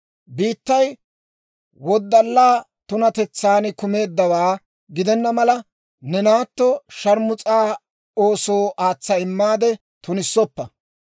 « ‹Biittay woddalaa tunatetsan kumeeddawaa gidenna mala, ne naatto shaarmus'aa oosoo aatsa immaade tunissoppa.